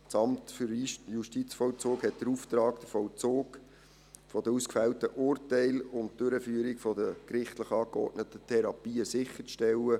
Das Amt für Justizvollzug (AJV) hat den Auftrag, den Vollzug der gefällten Urteile und die Durchführung der gerichtlich angeordneten Therapien sicherzustellen.